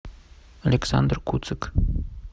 александр куцик